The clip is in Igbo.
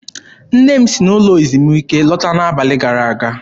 Nne m si n'ụlọ ezumike lọta n'abalị gara aga.